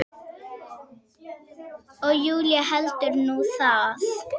Og Júlía heldur nú það!